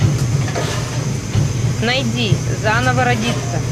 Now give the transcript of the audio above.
найди заново родиться